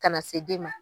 Kana se den ma